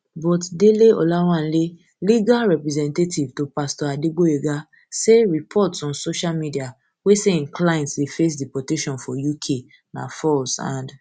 but dele olawanle legal representative to pastor adegboyega say reports on social media wey say im client dey face deportation for uk na false and